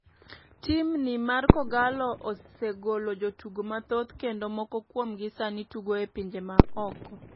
Tim ni mar kogallo osegolo jotugo mathoth kendo moko kuom gi sani tugo e pinje ma oko.